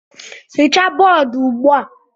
Hichaa bọọdụ ugbu a!